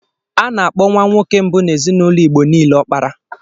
A na-akpọ nwa nwoke mbụ n'ezinụlọ Igbo niile Ọpara.